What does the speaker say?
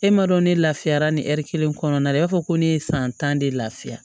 E m'a dɔn ne lafiyara ni ɛri kelen kɔnɔna na i b'a fɔ ko ne ye san tan de lafiya